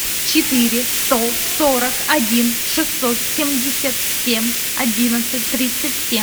четыре сто сорок один шестьсот семьдесят семь одиннадцать тридцать семь